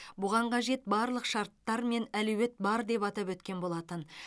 бұған қажет барлық шарттар мен әлеует бар деп атап өткен болатын